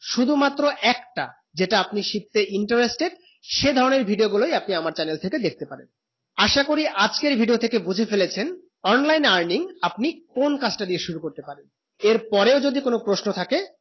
শুধু মাত্র একটা যেটা আপনি শিখতে interested সে ধরণে video গুলু আপনি আমার channel থেকে দেখতে পারেন আসা করি আজকে video থেকে বোঝে ফেলেছেন online earning আপনি কোন কাজ তা দিয়ে শুরু করতে পারেন এর পরেও যদি কোনো প্রশ্ন থাকে